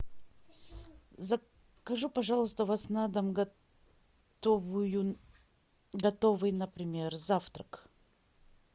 закажу пожалуйста у вас на дом готовый например завтрак